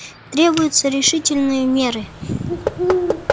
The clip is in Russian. требуются решительные меры